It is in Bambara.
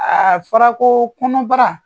Aa fɔra ko kɔnɔbara